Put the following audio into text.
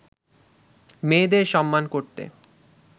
মেয়েদের সম্মান করতে